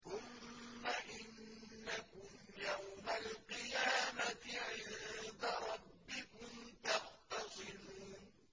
ثُمَّ إِنَّكُمْ يَوْمَ الْقِيَامَةِ عِندَ رَبِّكُمْ تَخْتَصِمُونَ